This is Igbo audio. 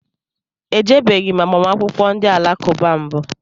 Ejebeghi m agbamakwụkwọ ndị alakụba mbụ